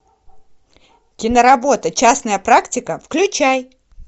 киноработа частная практика включай